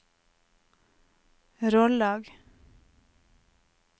Rollag